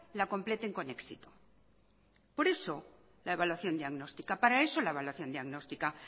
la completen con éxito por eso la evaluación diagnostica para eso la evaluación diagnóstica